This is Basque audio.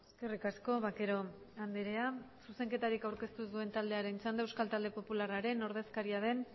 eskerrik asko vaquero andrea zuzenketarik aurkeztu ez duen taldearen txanda euskal talde popularraren ordezkaria den